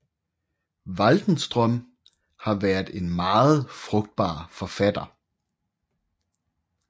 Waldenström har været en meget frugtbar forfatter